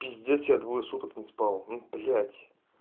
пиздец я двое суток не спал ну блять